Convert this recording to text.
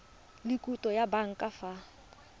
le khoutu ya banka fa